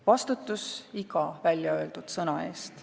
Vastutus iga väljaöeldud sõna eest.